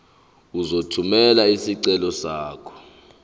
uzothumela isicelo sakho